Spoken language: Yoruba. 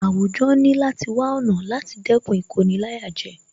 Àwùjọ ní láti wá ọ̀nà láti dẹ́kun Ìkoni-láyàjẹ